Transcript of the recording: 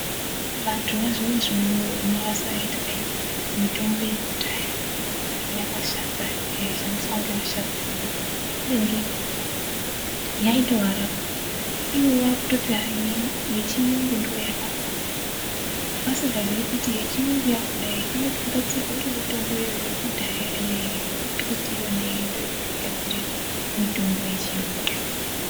Vantu vazvinezvi unou unoazwa eiti kwai mitombo yekudhaya yakashata yaishandiswa ngevasharukwa vedu kubenike yaitovarapa. Ivo vakutoti hayi yechiyungu ndoyakanaka vasingazivi kuti yechiyungu yakona inotogadzirwe ngemitombo yekudhaya yona iyoyo yekumbiti yona iyoyo ndiyo inotogadzire mitombo yechiyungu.